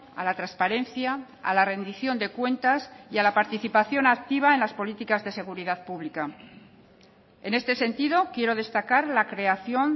a la transparencia a la rendición de cuentas y a la participación activa en las políticas de seguridad pública en este sentido quiero destacar la creación